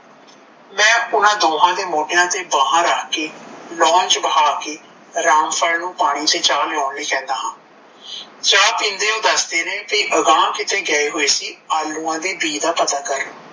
ਮੈ ਓਨਾ ਦੋਹਾਂ ਦੇ ਮੋਡੀਆ ਤੇ ਬਾਹਾਂ ਰੱਖ ਕੇ lawn ਚ ਬਹਾ ਕੇ ਰਾਮਪਾਲ ਨੂੰ ਪਾਣੀ ਤੇ ਚਾ ਲਿਆਉਣ ਲਈ ਕਹਿੰਦਾ ਹਾਂ ਚਾ ਪੀਂਦੇ ਓਹ ਦੱਸਦੇ ਨੇ ਕੀ ਅਗਾਂਹ ਕਿਤੇ ਗਏ ਹੋਇ ਸੀ ਆਲੁਆ ਦੇ ਬੀ ਦਾ ਪਤਾ ਕਰਨ